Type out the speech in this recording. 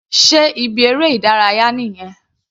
Sé ibi eré ìdárayá nìyẹn?